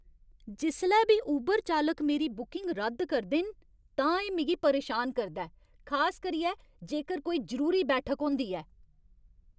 जिसलै बी ऊबर चालक मेरी बुकिंग रद्द करदे न तां एह् मिगी परेशान करदा ऐ, खास करियै जेकर कोई जरूरी बैठक होंदी ऐ।